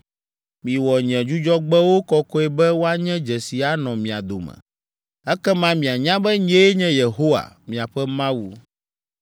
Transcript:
Miwɔ nye Dzudzɔgbewo kɔkɔe be woanye dzesi anɔ mia dome. Ekema mianya be nyee nye Yehowa, miaƒe Mawu.”